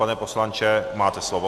Paní poslanče, máte slovo.